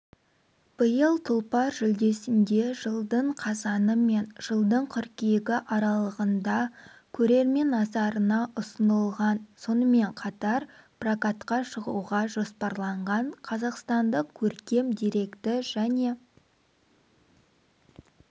биыл тұлпар жүлдесінде жылдың қазаны мен жылдың қыркүйегі аралығында көрермен назарына ұсынылған сонымен қатар прокатқа шығуға жоспарланған қазақстандық көркем деректі және